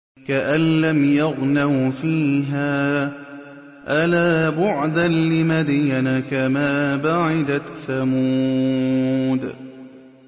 كَأَن لَّمْ يَغْنَوْا فِيهَا ۗ أَلَا بُعْدًا لِّمَدْيَنَ كَمَا بَعِدَتْ ثَمُودُ